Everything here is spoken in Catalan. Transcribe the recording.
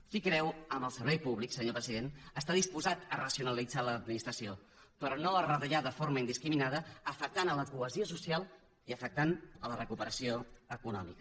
qui creu en el servei públic senyor president està disposat a racionalitzar l’administració però no a retallar de forma indiscriminada i afectar la cohesió social i afectar la recuperació econòmica